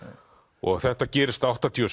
og þetta gerist áttatíu og